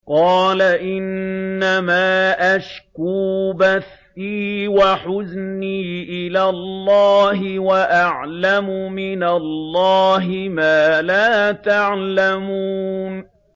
قَالَ إِنَّمَا أَشْكُو بَثِّي وَحُزْنِي إِلَى اللَّهِ وَأَعْلَمُ مِنَ اللَّهِ مَا لَا تَعْلَمُونَ